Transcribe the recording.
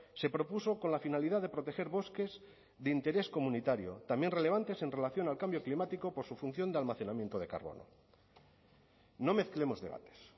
se propuso con la finalidad de proteger bosques de interés comunitario también relevantes en relación al cambio climático por su función de almacenamiento de carbono no mezclemos debates